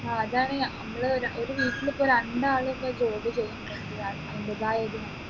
ആ അതാണ് നമ്മള് ഒരു വീട്ടിൽ ഇപ്പൊ രണ്ടാൾ ഇപ്പോ ജോലി ചെയ്യുന്നെങ്കിൽ അതിന് അതിൻറെതായ ഒരു